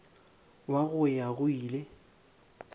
wa go ya go ile